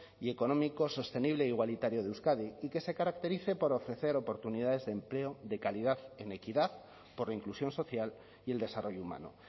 y económico sostenible e igualitario de euskadi y que se caracterice por ofrecer oportunidades de empleo de calidad en equidad por la inclusión social y el desarrollo humano